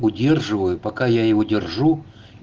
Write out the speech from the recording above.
удерживаю пока я его держу